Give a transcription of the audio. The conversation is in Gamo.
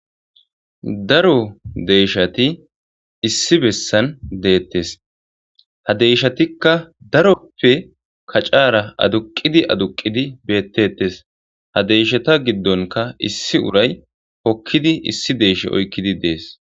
Daro deeshshati issi bessan deettes. Ha deeshshatikka daroti kac'aara aduqqidi aduqqidi beetteetes. Hadeeshata giddonkka issi uray hokkidi issi deeshsha oyqqidi dees.